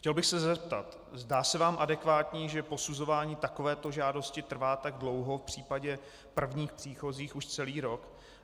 Chtěl bych se zeptat: Zdá se vám adekvátní, že posuzování takovéto žádosti trvá tak dlouho, v případě prvních příchozích už celý rok?